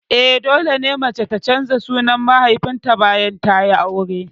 Eh, dole mace ta canza sunan mahaifinta bayan tayi aure